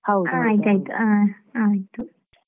ಹಾ ಆಯ್ತ್ ಆಯ್ತ್ ಹಾ ಆಯ್ತ್ ಆಯ್ತ್.